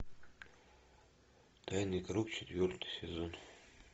тайный круг четвертый сезон